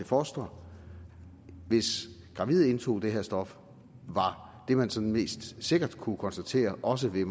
fostre hvis gravide indtog det her stof var det man sådan mest sikkert kunne konstatere også ved